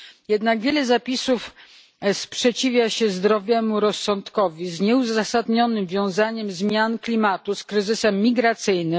Jednak wiele zapisów sprzeciwia się zdrowemu rozsądkowi z nieuzasadnionym wiązaniem zmian klimatu z kryzysem migracyjnym.